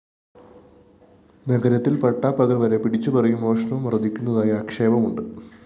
നഗരത്തില്‍ പട്ടാപകല്‍ വരെ പിടിച്ചുപറിയും മോഷണവും വര്‍ധിക്കുന്നതായി് ആക്ഷേപമുണ്ട്